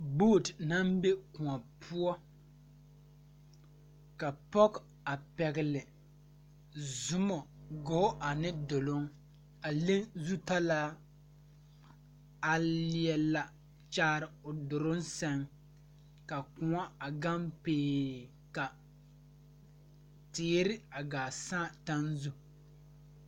Boot naŋ be kõɔ poɔ ka pɔge a pɛgle zumɔ ane talaa a leɛ la kyaare o duruŋ sɛŋ ka kõɔ a gaŋ pee ka teere a gaa saa taŋ zu.